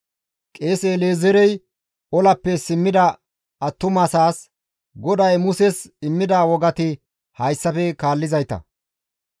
Qeese El7ezeerey olappe simmida attumasaas, «GODAY Muses immida wogati hayssafe kaallizayta;